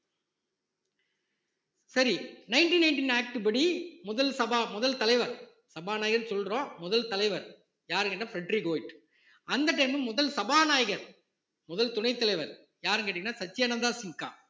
சரி nineteen nineteen act படி முதல் சபா முதல் தலைவர் சபாநாயகர்ன்னு சொல்றோம் முதல் தலைவர் யாரு கேட்டா பிரெட்ரிக் ஓய்ட் அந்த time ல முதல் சபாநாயகர் முதல் துணைத் தலைவர் யார்னு கேட்டீங்கன்னா சச்சியானந்தா சின்கா